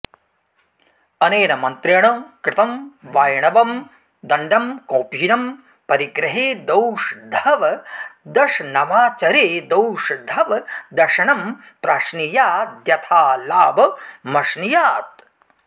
अनेन मन्त्रेण कृतं वाइणवं दण्डं कौपीनं परिग्रहेदौषधवदशनमाचरेदौषधवदशनं प्राश्नीयाद्यथालाभमश्नीयात्